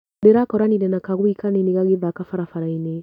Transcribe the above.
Ndĩrakoranire na kagui kanini gagĩthaka barabarainĩ.